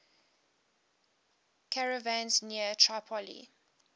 caravans near tripoli